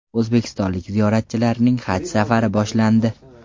O‘zbekistonlik ziyoratchilarning haj safari boshlandi.